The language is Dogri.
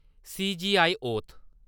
सी.जे.आई-औथ